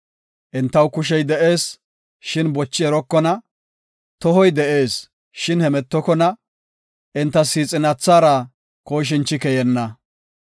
Entaw kushey de7ees, shin bochi erokona; tohoy de7ees, shin hemetokona; enta siixinathara kooshinchi keyenna.